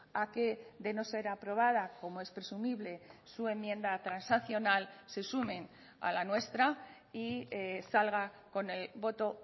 a que de no ser aprobada como es presumible su enmienda transaccional se sumen a la nuestra y salga con el voto